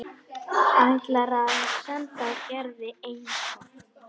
Ætlar að senda Gerði eintak.